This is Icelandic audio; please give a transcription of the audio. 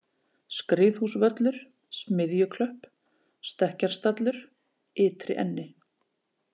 Skriðhúsvöllur, Smiðjuklöpp, stekkjarstallur, Ytri-Enni